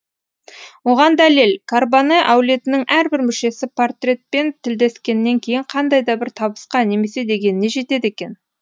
оған дәлел карбоне әулетінің әрбір мүшесі портретпен тілдескеннен кейін қандай да бір табысқа немесе дегеніне жетеді екен